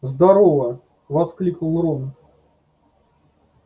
здорово воскликнул рон